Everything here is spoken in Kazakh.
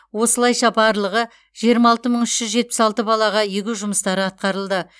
осылайша барлығы жиырма алты мың үш жүз жетпіс алты балаға егу жұмыстары атқарылды